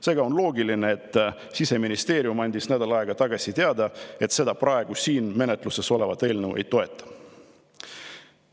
Seega on loogiline, et Siseministeerium andis nädalad tagasi teada, et ta seda praegu siin menetluses olevat eelnõu ei toeta.